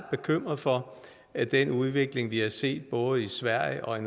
bekymrede for at den udvikling vi har set både i sverige og